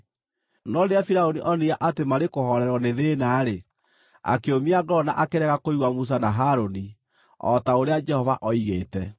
No rĩrĩa Firaũni onire atĩ marĩkũhoorerwo nĩ thĩĩna-rĩ, akĩũmia ngoro na akĩrega kũigua Musa na Harũni, o ta ũrĩa Jehova oigĩte.